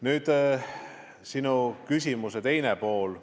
Nüüd sinu küsimuse teisest poolest.